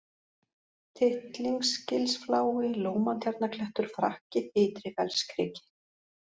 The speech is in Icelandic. Tittlingsgilsflái, Lómatjarnarklettur, Frakki, Ytri-Fellskriki